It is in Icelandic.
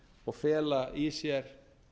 og fela í sér